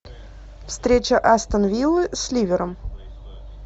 встреча астон виллы с ливером